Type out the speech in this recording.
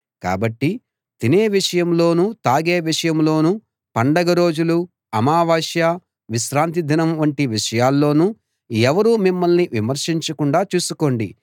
కాబట్టి తినే విషయంలోనూ తాగే విషయంలోనూ పండగ రోజులూ అమావాస్య విశ్రాంతి దినం వంటి విషయాల్లోనూ ఎవరూ మిమ్మల్ని విమర్శించకుండా చూసుకోండి